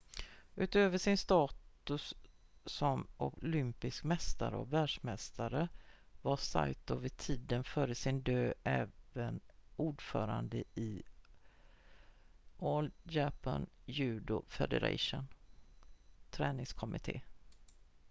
utöver sin status som olympisk mästare och världsmästare var saito vid tiden för sin död även ordförande i all japan judo federations träningskommitté